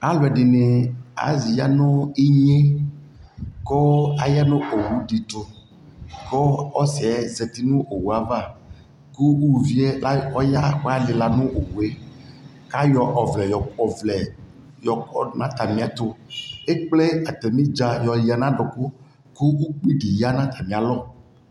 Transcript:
Alu ɛdini aya nu inye kuu aya nu owu dι tuKuu ɔsi yɛ zati nu owuyɛ avaKu ulu vi yɛ ɔya ku alila nu owu yɛAyɔ ɔvlɛ yɔ kɔ du nu ata mi yɛ tuEkple ata mi dza yɔ ya na duku ku ukpi dι ya nu ata mi alɔ